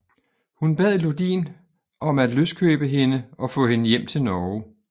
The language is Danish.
Hun bad Lodin om at løskøbe hende og få hende hjem til Norge